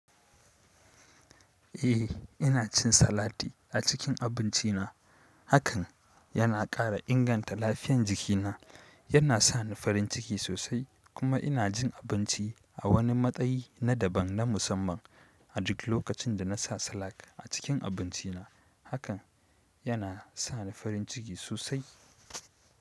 Eh ina cin salati a cikin abinci na, hakan yana ƙara inganta lafiyan jikina. Yana sa ni farin ciki sosai kuma ina jin abinci a wani matsayi na daban na musamman adik lokacin da nasa salat a cikin abinci na. Hakan yana sa ni farin ciki sosai.